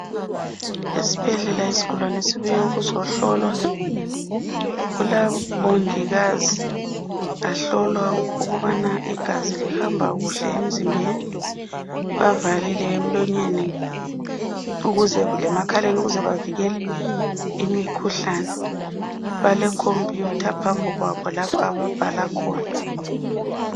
Esibhedlela isigulane esibuye ukuzohlolwa. Kulabomongikazi bahlola ukubana igazi lihamba kuhle emzimbeni, bavalile emlonyeni lasemakhaleni ukuze bavikele imikhuhlane. Balekhompuyutha phambi kwabo lapho ababhala khona.